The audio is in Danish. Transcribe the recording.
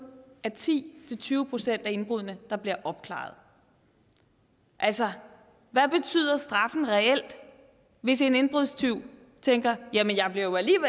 er ti til tyve procent af indbruddene der bliver opklaret altså hvad betyder straffen reelt hvis en indbrudstyv tænker jamen jeg bliver jo